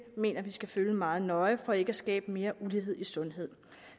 mener vi skal følge meget nøje for ikke at skabe mere ulighed i sundhed